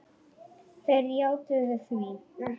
Þeir játuðu því.